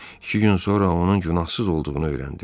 İki gün sonra onun günahsız olduğunu öyrəndim.